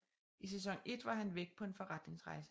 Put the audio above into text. I sæson 1 var han væk på en forretningsrejse